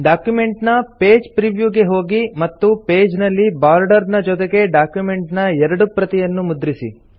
document ನ page preview ಗೆ ಹೋಗಿ ಮತ್ತು ಪೇಜ್ ನಲ್ಲಿ ಬಾರ್ಡರ್ ನ ಜೊತೆಗೆ ಡಾಕ್ಯುಮೆಂಟ್ ನ ಎರಡು ಪ್ರತಿಯನ್ನು ಮುದ್ರಿಸಿ